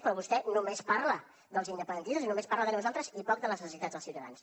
però vostè només parla dels independentistes i només parla de nosaltres i poc de les necessitats dels ciutadans